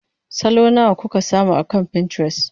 Salo nawa kuka samu akan Pinterest?